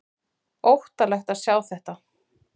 Óttalegt að sjá þetta!